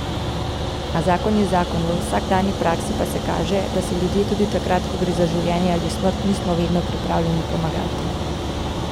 A zakon je zakon, v vsakdanji praksi pa se kaže, da si ljudje tudi takrat, ko gre za življenje ali smrt, nismo vedno pripravljeni pomagati.